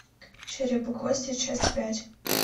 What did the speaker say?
череп и кости часть пять